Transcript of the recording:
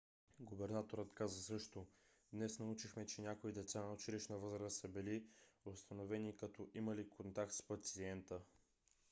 губернаторът каза също: днес научихме че някои деца на училищна възраст са били установени като имали контакт с пациента.